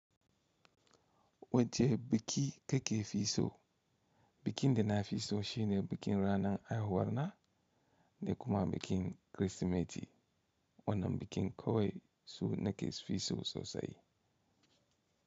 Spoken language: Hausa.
Wace biki da ke fi so, bikin da na fi so shine bikin ranan aihuwar na, da kuma bikin Kirsimeti. Wannan bikin kawai su nake fi so sosai.